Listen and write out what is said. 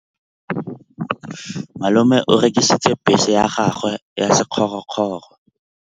Malome o rekisitse bese ya gagwe ya sekgorokgoro.